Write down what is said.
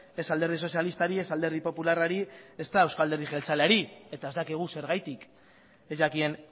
ez alderdi sozialistari ez alderdi popularrari ezta euzko alderdi jeltzaleari eta ez dakigu zergatik ez jakien